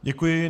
Děkuji.